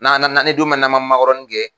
Nan nan ni don min nama makɔrɔni kɛ.